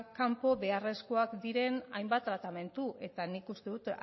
kanpo beharrezkoak diren hainbat tratamendu eta nik uste dut